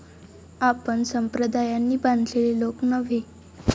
आपण संप्रदायांनी बांधलेले लोक नव्हे.